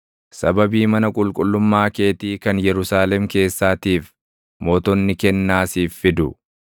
Sababii mana qulqullummaa keetii kan Yerusaalem keessaatiif mootonni kennaa siif fidu.